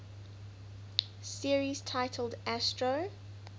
series titled astro